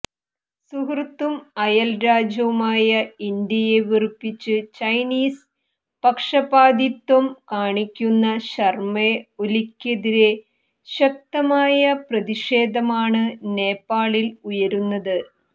സുഹൃത്തും അയല് രാജ്യവുമായ ഇന്ത്യയെ വെറുപ്പിച്ച് ചൈനീസ് പക്ഷപാതിത്വം കാണിക്കുന്ന ശർമ്മ ഒലിക്കെതിരെ ശക്തമായ പ്രതിഷേധമാണ് നേപ്പാളിൽ ഉയരുന്നത്